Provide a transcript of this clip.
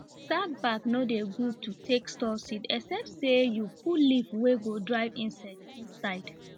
sack bag nor dey good to take store seed except say you leaf wey go drive insect inside